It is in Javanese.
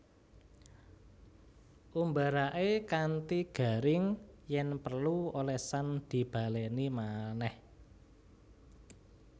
Umbaraké kanthi garing yèn perlu olesan dibalèni manèh